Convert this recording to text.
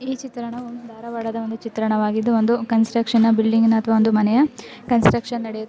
ಈ ಚಿತ್ರಣವು ಧಾರವಾಡದ ಒಂದು ಚಿತ್ರಣವವಾಗಿದ್ದು ಒಂದು ಕನ್ಸ್ಟ್ರಕ್ಷನ್ ಬಿಲ್ಡಿಂಗ್ ಅಥವಾ ಮನೆಯ ಕನ್ಸ್ಟ್ರಕ್ಷನ್ ನಡೆಯು --